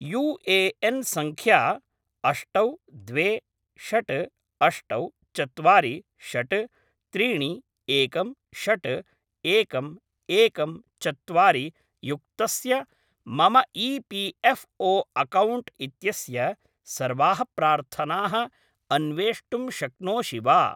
UAN. सङ्ख्या अष्टौ द्वे षट् अष्टौ चत्वारि षट् त्रीणि एकं षट् एकम् एकं चत्वारि युक्तस्य मम ई.पी.एफ़्.ओ. अकौण्ट् इत्यस्य सर्वाः प्रार्थनाः अन्वेष्टुं शक्नोषि वा?